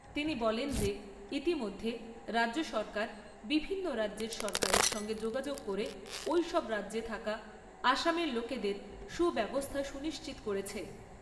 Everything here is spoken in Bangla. তিনি বলেন যে ইতিমধ্যে রাজ্য সরকার বিভিন্ন রাজ্যের সরকারের সঙ্গে যোগাযোগ করে ঐসব রাজ্যে থাকা আসামের লোকেদের সুব্যবস্থা সুনিশ্চিত করেছে।